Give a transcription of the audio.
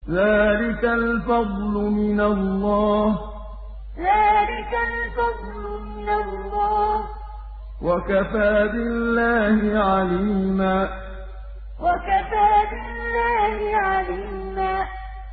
ذَٰلِكَ الْفَضْلُ مِنَ اللَّهِ ۚ وَكَفَىٰ بِاللَّهِ عَلِيمًا ذَٰلِكَ الْفَضْلُ مِنَ اللَّهِ ۚ وَكَفَىٰ بِاللَّهِ عَلِيمًا